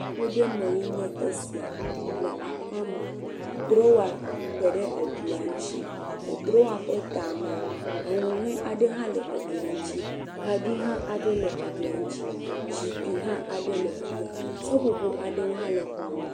Aƒ ɖe mee nye esia. Le aƒea mea, drowa te ɖe eglia ŋtsi. Le drowa ƒe tamea, enu nyie aɖe hã le eglia ŋtsi. Kaɖi hã aɖe le eglia ŋtsi. Zikpi hã aɖe le fi ya. Seƒoƒo aɖewo hã le xɔa me.